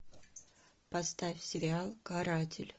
поставь сериал каратель